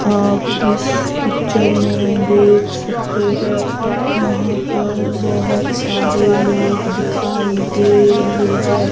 आप इस पिक्चर में देख सकते है यहां पर बहुत सारे लोग दिखाई दे रहे है।